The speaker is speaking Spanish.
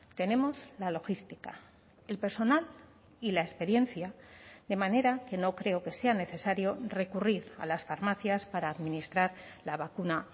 tenemos la logística el personal y la experiencia de manera que no creo que sea necesario recurrir a las farmacias para administrar la vacuna